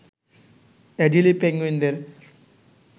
Adelie পেঙ্গুইনদের